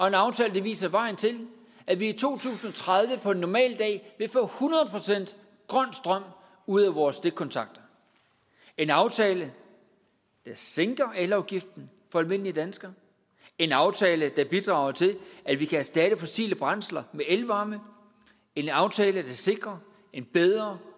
en aftale der viser vejen til at vi i to tusind og tredive på en normal dag vil få hundrede procent grøn strøm ud af vores stikkontakter en aftale der sænker elafgiften for almindelige danskere en aftale der bidrager til at vi kan erstatte fossile brændsler med elvarme en aftale der sikrer en bedre